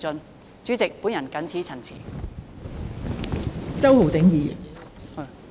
代理主席，我謹此陳辭。